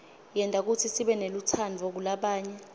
yenta kutsi sibenelutsandvo kulabanye